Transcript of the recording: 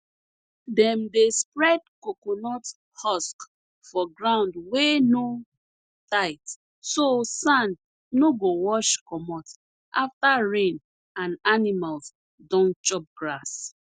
dem dey spread coconut husk for ground wey no tight so sand no go wash commot after rain and animals don chop grass